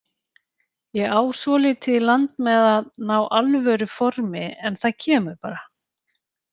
Ég á svolítið í land með að ná alvöru formi en það kemur bara.